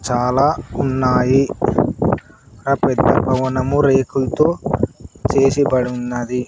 చాలా ఉన్నాయి పెద్ద పెద్ద భవనము రేకుల్తో చేసి బడున్నది.